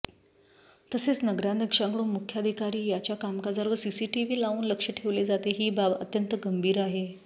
तसेच नगराध्यक्षांकडून मुख्याधिकारी यांच्या कामकाजावर सीसीटीव्ही लावून लक्ष ठेवले जाते ही बाब अत्यंत गंभीर आहे